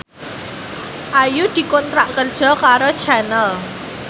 Ayu dikontrak kerja karo Channel